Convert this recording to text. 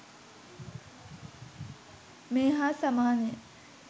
මේ හා සමානය.